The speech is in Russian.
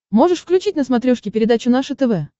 можешь включить на смотрешке передачу наше тв